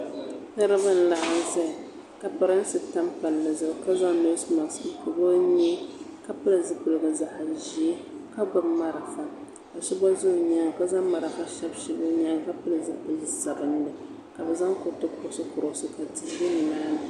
Niriba n laɣim zaya ka pirinsi tam palli zuɣu ka zaŋ noosi maks n pɔbi o nyee ka pili zipiligu zaɣa ʒee ka gbubi marafa ka so gba za o nyaanga ka marafa shabi shabi o nyaanga ka pili zipili sabinli ka bi zaŋ kuriti kurɔsi kurɔsi ka tia ʒɛ ni maa ni.